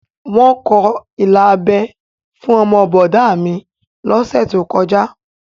Wọ́n kọ ilà abẹ́ fún ọmọ bọ̀dá a mi lọ́sẹ̀ tó kọjá